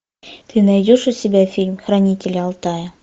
ты найдешь у себя фильм хранители алтая